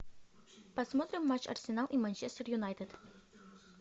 посмотрим матч арсенал и манчестер юнайтед